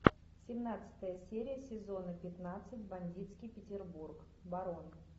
семнадцатая серия сезона пятнадцать бандитский петербург барон